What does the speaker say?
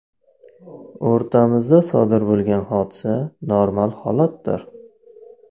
O‘rtamizda sodir bo‘lgan hodisa normal holatdir.